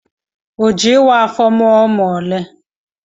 O jị ịwa afọ mụọ ụmụ ole?